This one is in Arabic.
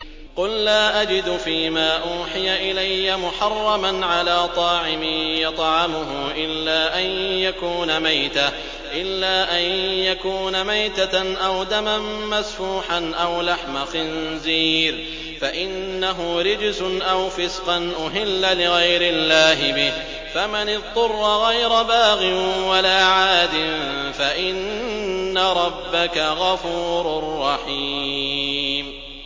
قُل لَّا أَجِدُ فِي مَا أُوحِيَ إِلَيَّ مُحَرَّمًا عَلَىٰ طَاعِمٍ يَطْعَمُهُ إِلَّا أَن يَكُونَ مَيْتَةً أَوْ دَمًا مَّسْفُوحًا أَوْ لَحْمَ خِنزِيرٍ فَإِنَّهُ رِجْسٌ أَوْ فِسْقًا أُهِلَّ لِغَيْرِ اللَّهِ بِهِ ۚ فَمَنِ اضْطُرَّ غَيْرَ بَاغٍ وَلَا عَادٍ فَإِنَّ رَبَّكَ غَفُورٌ رَّحِيمٌ